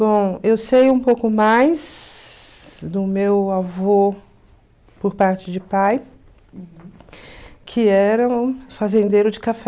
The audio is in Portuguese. Bom, eu sei um pouco mais do meu avô por parte de pai, que era um fazendeiro de café.